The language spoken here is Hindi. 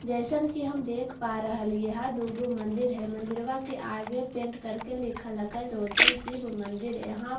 जैसन के हम देख पा रह लिए है दोगो मंदिर है मंदिरवा के आगे पेंट करके लिख लिगा है लोचन शिव मंदिर यहां पर ई--